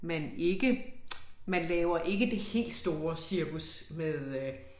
Man ikke man laver ikke det helt store cirkus med øh